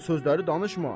O sözləri danışma.